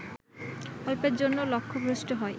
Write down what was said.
অল্পের জন্য লক্ষ্যভ্রষ্ট হয়